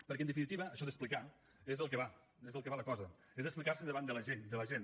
perquè en definitiva això d’explicar és del que va és del que va la cosa és explicarse davant la gent